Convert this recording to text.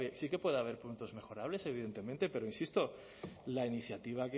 sí que puede haber puntos mejorables evidentemente pero insisto la iniciativa